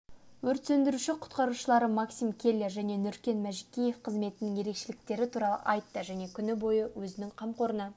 өрт сөндіруші-құтқарушылары максим келлер және нүркен мәжікеев қызметтің ерекшеліктері туралы айтты және күні бойы өзінің қамқорына